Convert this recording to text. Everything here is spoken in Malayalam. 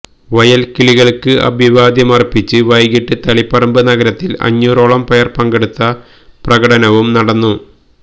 വയല്കിളികള്ക്ക് അഭിവാദ്യമര്പ്പിച്ച് വൈകിട്ട് തളിപ്പറമ്പ് നഗരത്തില് അഞ്ഞൂറോളം പേര് പങ്കെടുത്ത പ്രകടനവും നടന്നു